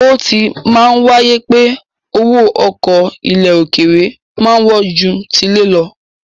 Ó ti máa ń wáyé pé owó ọkọ̀ ilẹ̀ òkèèrè máa ń wọ́n ju tilé lọ.